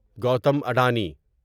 Gautam Adani